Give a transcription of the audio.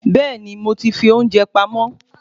Bẹẹni moti fi ounjẹ pamó